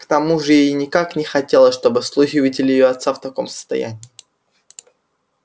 к тому же ей никак не хотелось чтобы слуги увидели её отца в таком состоянии